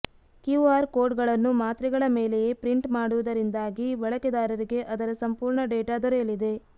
QR code ಗಳನ್ನು ಮಾತ್ರೆಗಳ ಮೇಲೆಯೇ ಪ್ರಿಂಟ್ ಮಾಡುವುದರಿಂದಾಗಿ ಬಳಕೆದಾರರಿಗೆ ಅದರ ಸಂಫೂರ್ಣ ಡೇಟಾ ದೊರೆಯಲಿದೆ